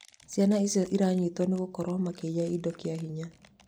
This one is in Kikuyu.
Ciana icio iranyitirwo nĩ gwĩkoorwo makiiya indo kĩahinya